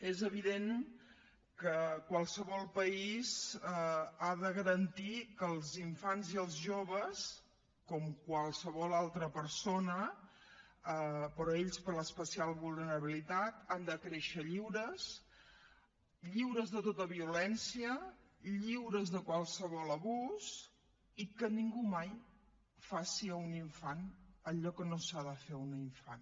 és evident que qualsevol país ha de garantir que els infants i els joves com qualsevol altra persona però ells per l’especial vulnerabilitat han de créixer lliure lliures de tota violència lliures de qualsevol abús i que ningú mai faci a un infant allò que no s’ha de fer a un infant